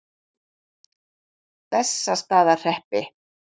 Bessastaðahreppi